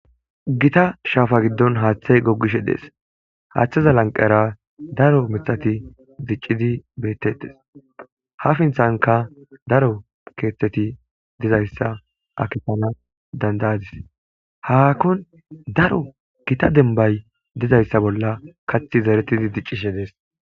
gita shaafa giddon haaththey goggishe dees haaththeza lanqera daro mithati diccidi beettetes ha finthanka daro keethteti dizayssa akipana dandayadis haakon daro gita denbay dizayssa bolla kathi zaretidi diccishe dees.